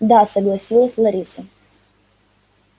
да согласилась лариса